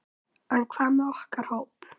En hvað með okkar hóp?